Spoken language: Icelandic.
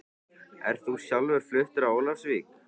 Ert þú sjálfur fluttur á Ólafsvík?